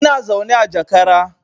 Ina zaune a jakara